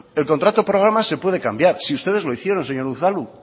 el contrato programa se puede cambiar si ustedes lo hicieron señor unzalu